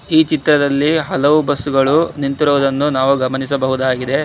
ಈ ಚಿತ್ರದಲ್ಲಿ ಹಲವು ಬಸ್ಸುಗಳು ನಿಂತಿರುವುದ್ದನ್ನು ನಾವು ಗಮನಿಸಬಹುದಾಗಿದೆ.